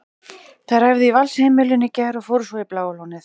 Þær æfðu í Valsheimilinu í gær og fóru svo í Bláa lónið.